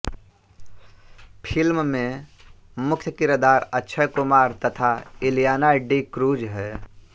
film में मुख्य किरदार अक्षय कुमार तथा इलियाना डीक्रूज़ है